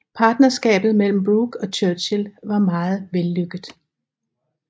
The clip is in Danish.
Partnerskabet mellem Brooke og Churchill var meget vellykket